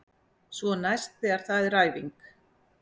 Svo næst þegar það er æfing.